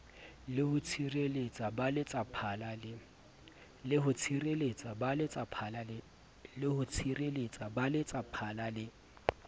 le ho tshireletsa baletsaphala le